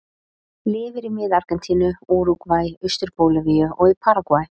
Lifir í mið Argentínu, Úrúgvæ, austur Bólivíu og í Paragvæ.